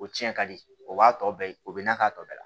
O cɛn ka di o b'a tɔ bɛɛ o bɛ na k'a tɔ bɛɛ la